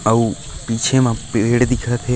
अउ पीछे म पेड़ दिखत हे।